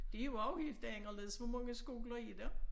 Det jo også helt anderledes hvor mange skoler er der?